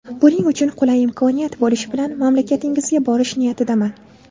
Buning uchun qulay imkoniyat bo‘lishi bilan mamlakatingizga borish niyatidaman.